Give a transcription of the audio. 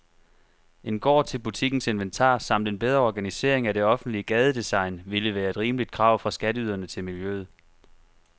En gård til butikkens inventar samt en bedre organisering af det offentlige gadedesign ville være et rimeligt krav fra skatteyderne til miljøet.